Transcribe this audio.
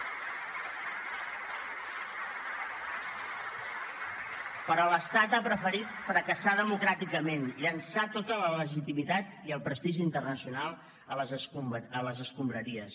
però l’estat ha preferit fracassar democràticament llençar tota la legitimitat i el prestigi internacional a les escombraries